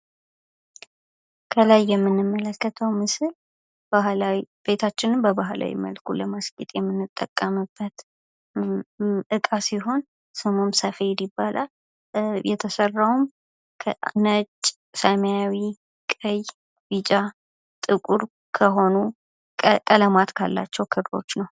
ከላይ የምንመለከተው ምስል ባህላዊ ቤታችንን በባህላዊ መልኩ ለማስጌጥ የምንጠቀምበት እቃ ሲሆን ስሙ ሰፌድ ይባላል። የተሰራውም ከነጭ ሰማያዊ ቀይ ቢጫ ጥቁር ከሆኑ ቀለማት ካላቸው ክሮች ነው።